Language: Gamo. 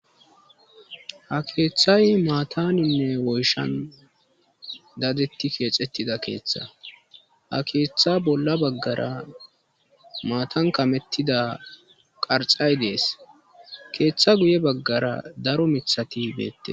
ha keeththay maataninne woyshan dadetti keexettida keeththa ha keeththa bolla baggara maatan kamettida qarxay dees keeththa guye baggara daro mithati beetteet